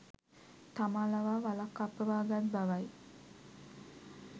තමා ලවා වලක් කප්පවා ගත් බවයි.